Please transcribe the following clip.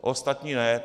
Ostatní ne.